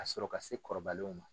Ka sɔrɔ ka se kɔrɔbalenw ma.